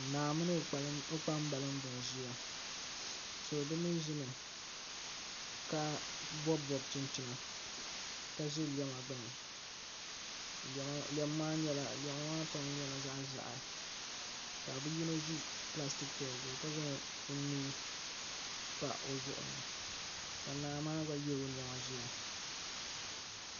Naa mini o kpambalibi n ʒiya bi mii ʒimi ka bob bob chinchina ka ʒi lɛma gbuni lɛm maa pam nyɛla zaɣ ʒiɛhi ka bi yino ʒi pilastik chɛya zuɣu ka zaŋ o nuu pa o zuɣu ni ka naa maa gba yɛ o niɛma ʒiya